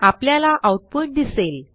आपल्याला आऊटपुट दिसेल